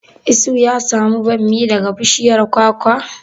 Isuhu ya samu bammi daga bishiyar kwakwa?